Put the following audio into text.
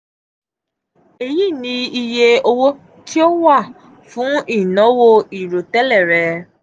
eyi ni iye owo ti o wa fun inawo irotele rẹ.